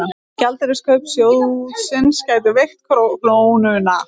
Gjaldeyriskaup sjóðsins gætu veikt krónuna